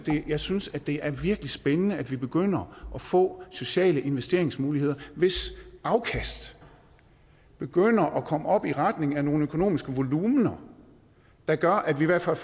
jeg synes det er virkelig spændende at vi begynder at få sociale investeringsmuligheder hvis afkast begynder at komme op i retning af nogle økonomiske volumener der gør at vi i hvert fald